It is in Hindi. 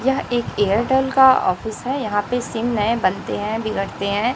यह एक एयरटेल का ऑफिस है यहां पे सिम नए बनते हैं बिगड़ते हैं।